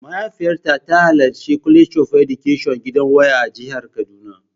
Mahaifiyata ta halarci College of Education gidan waya a jihar kaduna.